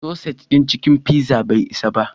Sausage ɗin cikin pizzan bai isa ba.